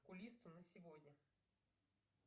к окулисту на сегодня